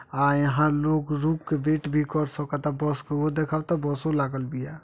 आ यहाँ लोग रुक के वेट भी कर सकता बस के ओ देखत बसो लागल बिया।